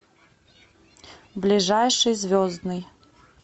ближайший звездный